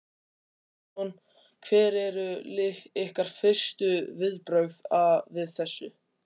Andri Ólafsson: Hver eru ykkar fyrstu viðbrögð við þessu?